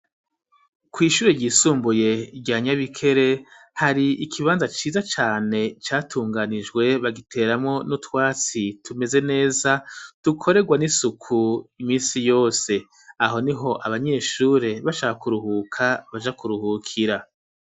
Kw' ishuri ryisumbuye rya nyabikere ,hari ikibanza ciza cane catunganijwe ,bagiteramwo n'utwatsi tumeze neza ,tukoregwa n'isuku iminsi yose ,aho niho abanyeshure bashaka kuruhuka baja kuruhukira.